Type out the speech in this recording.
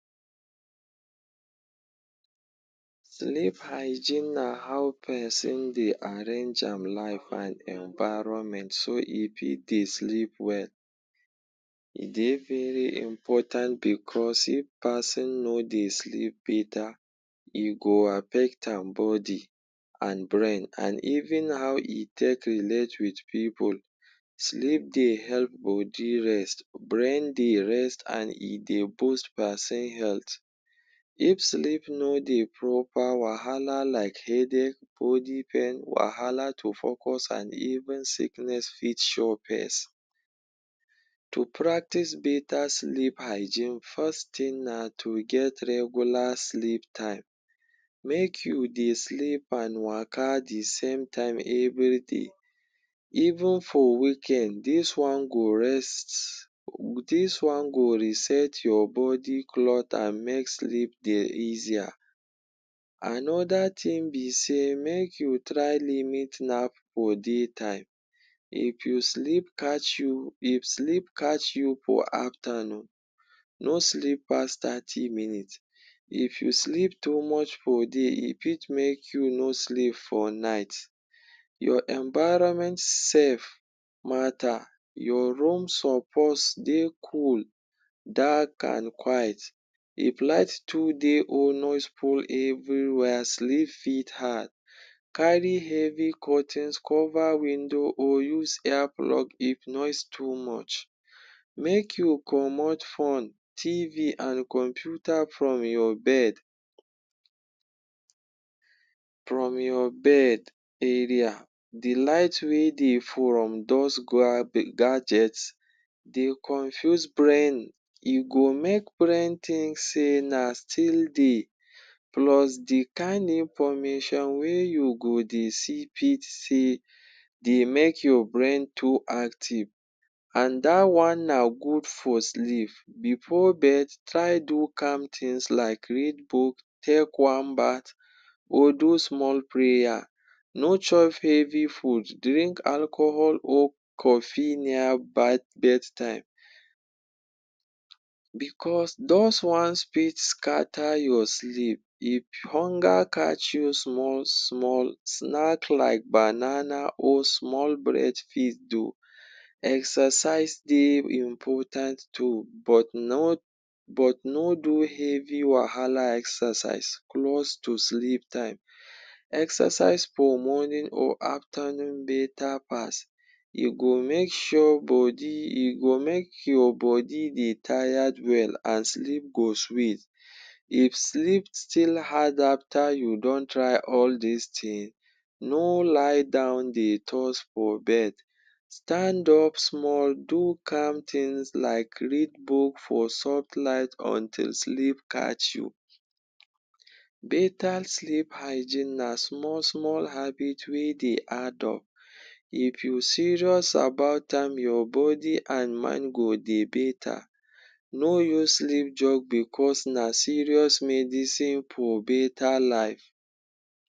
Sleep hygiene na how peson dey arrange am life an environment so e fit dey sleep well. E dey very important becos if pason no dey sleep beta, e go affect am body, an brain an even how e take relate with pipul. Sleep dey help body rest, brain dey rest, an e dey boost peson health. If sleep no dey proper, wahala like headache, body pain, wahala to focus, an even sickness fit show pace. To practice beta sleep hygiene, first tin na to get regular sleep time. Make you dey sleep an waka the same time every day even for weekend. Dis one go rest, dis one go reset your body an make sleep dey easier. Another tin be sey make you try limit nap for day time. If you sleep catch you, if sleep catch you for aftanoon, no sleep pass thirty minutes. If you sleep too much for day, e fit make you no sleep for night. Your environment sef matter. Your room suppose dey cool, dark, an quiet. If light too dey or noise full everywhere, sleep fit hard. Carry heavy curtains cover window or use ear plug if noise too much. Make you comot phone, TV, an computer from your bed from your bed area. The light wey dey from dos gadget dey confuse brain. E go make brain think sey na still day. Plus the kain information wey you go dey see fit still dey make your brain too active. An dat one na good for sleep. Before bed, try do calm tins like read book, take warm bath or do small prayer. No chop heavy food, drink alcohol or coffee near bedtime becos dos ones fit scatter your sleep. If hunger catch you small-small, snack like banana or small bread fit do. Exercise dey important too but no but no do heavy wahala exercise close to sleep time. Exercise for morning or aftanoon beta pass. E go make sure body e go make your body dey tired well an sleep go sweet. If sleep still hard after you don try all dis tin, no lie down dey toss for bed. Stand up small, do calm tins like read book for soft light until sleep catch you. Beta sleep hygiene na small-small habit wey dey add up. If you serious about am, your body an mind go dey beta. No use sleep joke becos na serious medicine for beta life.